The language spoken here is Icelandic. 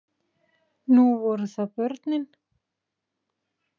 Nú voru það börnin.